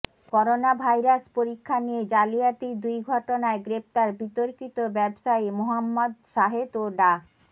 coronavirus পরীক্ষা নিয়ে জালিয়াতির দুই ঘটনায় গ্রেপ্তার বিতর্কিত ব্যবসায়ী মোহাম্মদ সাহেদ ও ডা